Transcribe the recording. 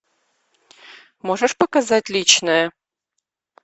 можешь показать личное